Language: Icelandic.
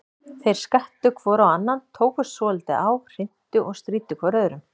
Þeir skvettu hvor á annan, tókust svolítið á, hrintu og stríddu hvor öðrum.